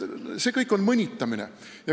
See kõik on mõnitamine.